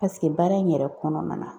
baara in yɛrɛ kɔnɔna na